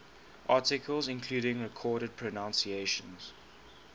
articles including recorded pronunciations